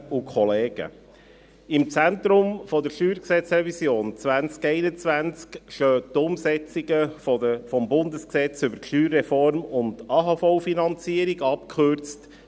Im Zentrum der StG-Revision 2021 stehen die Umsetzungen des Bundesgesetzes über die Steuerreform und die AHV-Finanzierung, abgekürzt